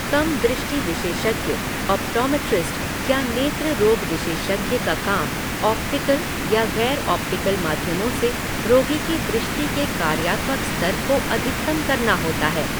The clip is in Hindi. कम दृष्टि विशेषज्ञ, ऑप्टोमेट्रिस्ट, या नेत्र रोग विशेषज्ञ का काम ऑप्टिकल या गैर ऑप्टिकल माध्यमों से रोगी की दृष्टि के कार्यात्मक स्तर को अधिकतम करना होता है।